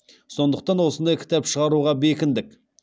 сондықтан осындай кітап шығаруға бекіндік